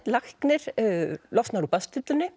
læknir losnar úr